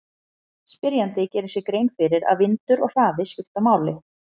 Spyrjandi gerir sér grein fyrir að vindur og hraði skipta máli.